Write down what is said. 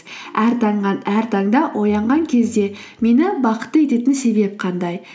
әр таңнан әр таңда оянған кезде мені бақытты ететін себеп қандай